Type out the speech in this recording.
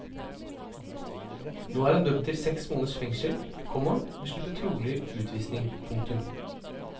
Nå er han dømt til seks måneders fengsel, komma men slipper trolig utvisning. punktum